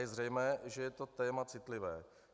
Je zřejmé, že je to téma citlivé.